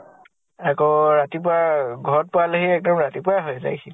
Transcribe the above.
আকৌ ৰাতিপুৱা অ ঘৰত পোৱালেহি এক্তিদম ৰাতিপুৱাই হয় যায়্হি।